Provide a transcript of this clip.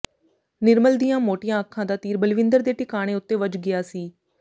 ਨਿਰਮਲ ਦੀਆਂ ਮੋਟੀਆਂ ਅੱਖਾਂ ਦਾ ਤੀਰ ਬਲਵਿੰਦਰ ਦੇ ਟਿਕਾਣੇ ਉੱਤੇ ਵੱਜ ਗਿਆ ਸੀ